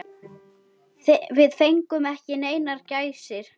Við fengum ekki neinar gæsir.